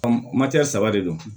saba de don